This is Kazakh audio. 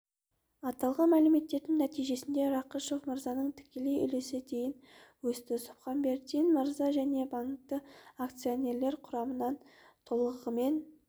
аталған мәмілелердің нәтижесінде рақышев мырзаның тікелей үлесі дейін өсті субханбердин мырза және банктің акционерлер құрамынан толығымен